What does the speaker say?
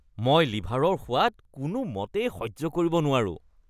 মই লিভাৰৰ সোৱাদ কোনোমতেই সহ্য কৰিব নোৱাৰো।